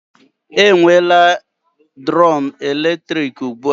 E nwela drum eletrik ụgbụa